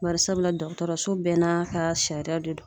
Bari sabula dɔgɔtɔrɔso bɛɛ n'a kaa sariya de don.